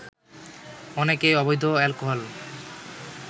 অনেকেই অবৈধ অ্যালকোহল